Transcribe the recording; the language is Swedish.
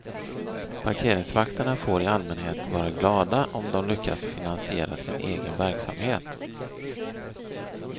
Parkeringsvakterna får i allmänhet vara glada om de lyckas finansiera sin egen verksamhet.